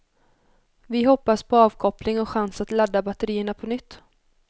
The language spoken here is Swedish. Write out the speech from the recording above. Vi hoppas på avkoppling och chans att ladda batterierna på nytt.